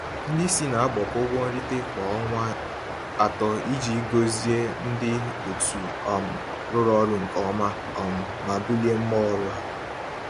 Ndị isi na-agbakọ ụgwọ nrite kwa ọnwa atọ iji gọzie ndị otu um rụrụ ọrụ nke ọma um ma bulie mmụọ ọrụ ha.